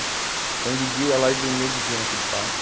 Então, de dia, eu ia lá e dormia de dia naquele parque.